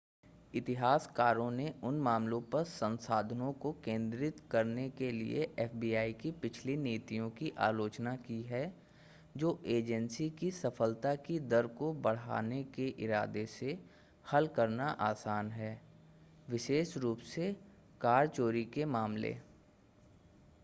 इतिहासकारों ने उन मामलों पर संसाधनों को केंद्रित करने के लिए एफबीआई की पिछली नीतियों की आलोचना की है जो एजेंसी की सफलता की दर को बढ़ाने के इरादे से हल करना आसान है, विशेष रूप से कार चोरी के मामलेा।